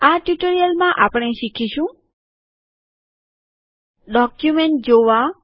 આ ટ્યુટોરીયલમાં આપણે શીખીશું ડોક્યુમેન્ટ જોવા